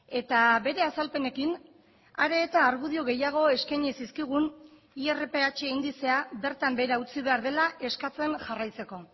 eta bere azalpenekin are eta argudio gehiago eskaini zizkigun irph indizea bertan behera utzi behar dela eskatzen jarraitzeko